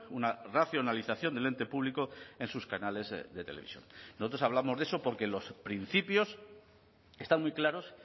una racionalización del ente público en sus canales de televisión nosotros hablamos de eso porque los principios están muy claros